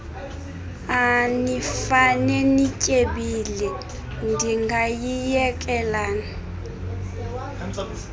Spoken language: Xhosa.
anifane nityebile ndingayiyekelani